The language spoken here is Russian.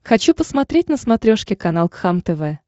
хочу посмотреть на смотрешке канал кхлм тв